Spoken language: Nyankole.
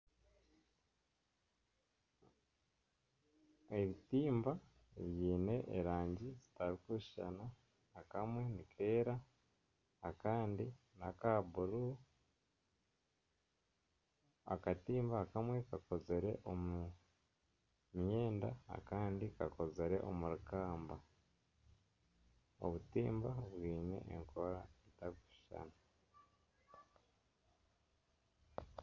Ebitimba biine erangi zitarikushuushana akamwe nikeera akandi naka buru akatimba akamwe kakozire omu myenda akandi kakozire omuri kaamba obutimba bwine enkora zitakushushana.